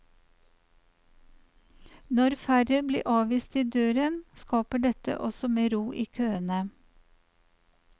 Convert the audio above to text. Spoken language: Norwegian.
Når færre blir avvist i døren, skaper dette også mer ro i køene.